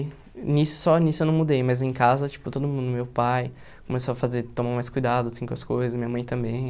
Nisso só nisso eu não mudei, mas em casa, tipo, todo mundo, meu pai começou a fazer tomar mais cuidado assim com as coisas, minha mãe também.